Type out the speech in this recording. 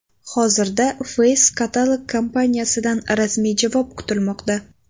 Hozirda Face Catalog kompaniyasidan rasmiy javob kutilmoqda.